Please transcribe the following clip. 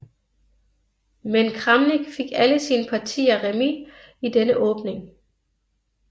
Men Kramnik fik alle sine partier remis i denne åbning